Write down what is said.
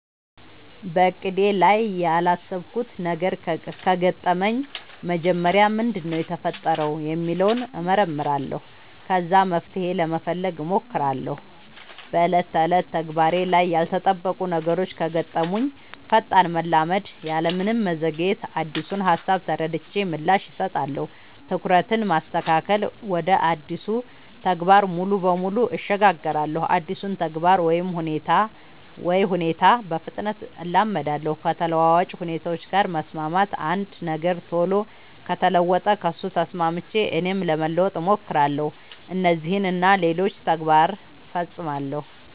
በእቅዴ ላይ ያላሰብኩት ነገር ከገጠመኝ መጀመሪያ ምንድነው የተፈጠረው ሚለውን እመረምራለሁ ከዛ መፍትሄ ለመፈለግ ሞክራለው በ ዕለት ተዕለት ተግባሬ ላይ ያልተጠበቁ ነገሮች ከገጠሙኝ ፈጣን መላመድ ያለምንም መዘግየት አዲሱን ሃሳብ ተረድቼ ምላሽ እሰጣለሁ። ትኩረትን ማስተካከል ወደ አዲሱ ተግባር ሙሉ በሙሉ እሸጋገራለሁ አዲሱን ተግባር ወይ ሁኔታ በፍጥነት እላመዳለው። ከተለዋዋጭ ሁኔታዎች ጋር መስማማት አንድ ነገር ቶሎ ከተለወጠ ከሱ ተስማምቼ እኔም ለመለወጥ ሞክራለው። እነዚህን እና ሌሎችም ተግባር ፈፅማለው።